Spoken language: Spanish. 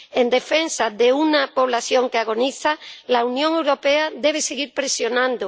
En defensa de una población que agoniza, la Unión Europea debe seguir presionando.